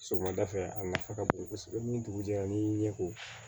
Sɔgɔmada fɛ a nafa ka bon kosɛbɛ ni dugu jɛra n'i y'i ɲɛ ko